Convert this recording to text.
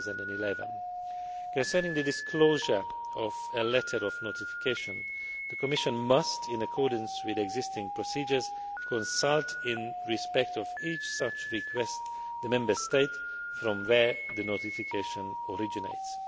2011. Concerning the disclosure of a letter of notification, the Commission must, in accordance with existing procedures, consult in respect of each such request the Member State from where the notification originates.